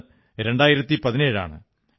ഇന്ന് 2017 ആണ്